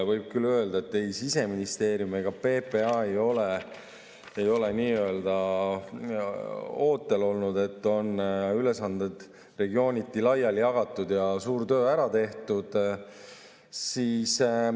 Võib küll öelda, et ei Siseministeerium ega PPA ei ole nii-öelda ootel olnud, ülesanded on regiooniti laiali jagatud ja suur töö ära tehtud.